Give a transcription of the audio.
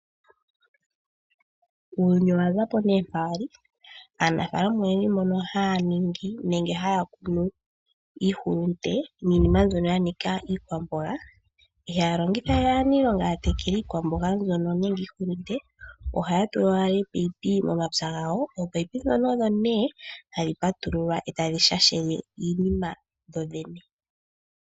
Uuyuni owa zapo ne mpa wali. Aanafaalama oyendji mbono haya ningi nenge haya kunu iihulunde niinima mbyono yanika iikwamboga ihaya longithawe aaniilonga yatekele iikwamboga mbyono nenge iihulunde. Ohaya tula owala oopayipi momapya gawo. Oopayipi ndhono odho ne hadhi patululwa etadhi shashele iinima kudho dhene.